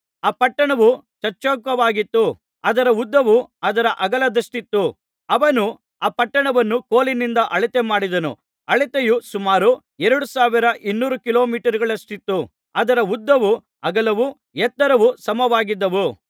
ಆ ಪಟ್ಟಣವು ಚಚ್ಚೌಕವಾಗಿತ್ತು ಅದರ ಉದ್ದವು ಅದರ ಅಗಲದಷ್ಟಿತ್ತು ಅವನು ಆ ಪಟ್ಟಣವನ್ನು ಕೋಲಿನಿಂದ ಅಳತೆ ಮಾಡಿದನು ಅಳತೆಯು ಸುಮಾರು 2200 ಕಿಲೋಮೀಟರುಗಳಷ್ಟಿತ್ತು ಅದರ ಉದ್ದವು ಅಗಲವು ಎತ್ತರವು ಸಮವಾಗಿದ್ದವು